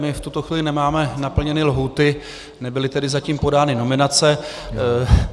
My v tuto chvíli nemáme naplněné lhůty, nebyly tedy zatím podány nominace.